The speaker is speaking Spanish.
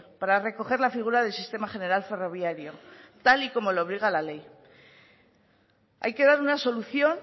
para recoger la figura del sistema general ferroviario tal y como le obliga la ley hay que dar una solución